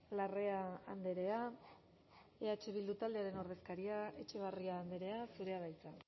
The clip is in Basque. larrea andrea eh bildu taldearen ordezkaria etxebarria andrea zurea da hitza